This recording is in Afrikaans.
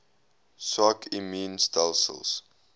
swak immuun stelsels